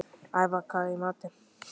Ævarr, hvað er í matinn?